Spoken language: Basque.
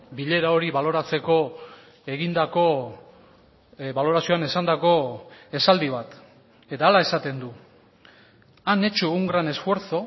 bilera hori baloratzeko egindako balorazioan esandako esaldi bat eta hala esaten du han hecho un gran esfuerzo